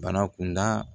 Bana kunda